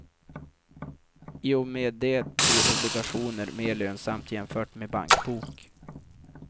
I och med det blir obligationer mer lönsamt jämfört med bankbok.